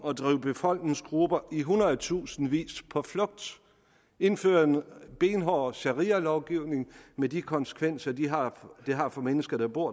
at drive befolkningsgrupper i hundredtusindvis på flugt og indføre en benhård sharialovgivning med de konsekvenser det har har for mennesker der bor